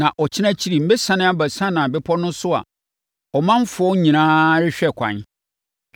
Na ɔkyena akyiri mɛsiane aba Sinai Bepɔ no so a ɔmanfoɔ nyinaa rehwɛ ɛkwan.